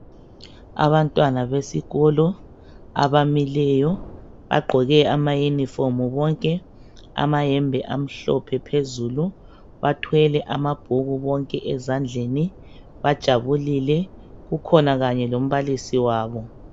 Abantwana besikolo abamileyo bagqoke amayunifomu bonke, amayembe amhlophe phezulu. Bathwele amabhuku bonke ezandleni, bajabulile. Kukhona kanye lombalisi wabo.